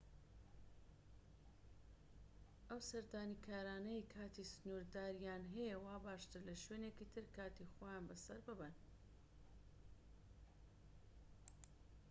ئەو سەردانیکارانەی کاتی سنوورداریان هەیە وا باشترە لە شوێنێکی تر کاتی خۆیان بە سەر ببەن